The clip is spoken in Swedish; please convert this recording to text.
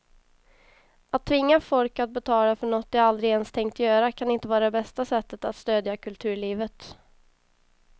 Att tvinga folk att betala för något de aldrig ens tänkt göra kan inte vara det bästa sättet att stödja kulturlivet.